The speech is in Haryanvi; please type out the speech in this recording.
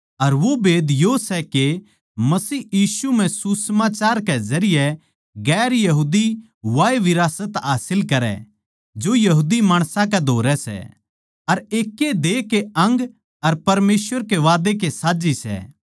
अर वो भेद यो सै के मसीह यीशु म्ह सुसमाचार कै जरिये गैर यहूदी वाए विरासत हासिल करै जो यहूदी माणसां कै धोरै सै अर एकैए देह के अंग अर परमेसवर के वादै के साज्झी सै